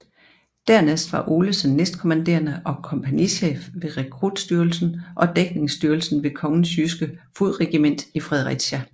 Dernæst var Olesen næstkommanderende og kompagnichef ved rekrutstyrken og dækningsstyrken ved Kongens Jyske Fodregiment i Fredericia